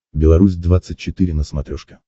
беларусь двадцать четыре на смотрешке